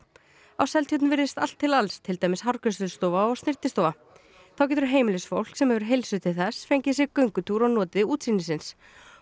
á Seltjörn virðist allt til alls til dæmis hárgreiðslustofa og snyrtistofa þá getur heimilisfólk sem hefur heilsu til þess fengið sér göngutúr og notið útsýnisins